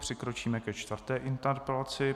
Přikročíme ke čtvrté interpelaci.